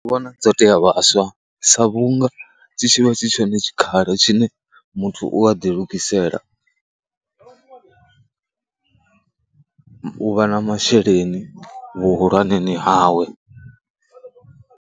Ndi vhona dzo tea vhaswa sa vhunga tshi tshivha tshi tshone tshikhala tshine muthu u a ḓi lugisela u vha na masheleni vhuhulwaneni hawe.